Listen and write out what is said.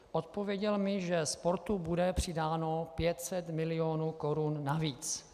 Odpověděl mi, že sportu bude přidáno 500 milionů korun navíc.